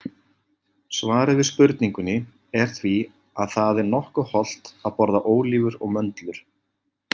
Svarið við spurningunni er því að það er nokkuð hollt að borða ólívur og möndlur.